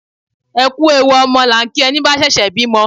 Ẹ kú ewu ọmọ la ń kí ẹni bá ṣẹ̀ṣẹ̀ bímọ